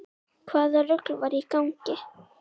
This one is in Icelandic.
Hvaða rugl var í gangi?